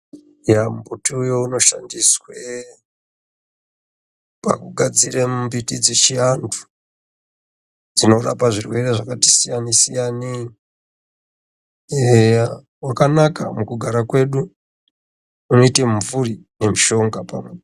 Eya mumbuti we unoshandiswe pakugadzira mbiti dze chiantu dzinorapa zvirwere zvakati siyane siyaneyi eya wakanaka mukugara kwedu muti mumvuri ne mushonga pamunhu.